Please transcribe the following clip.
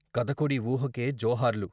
కథకుడి ఊహకే జోహార్లు.....